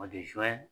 O de ye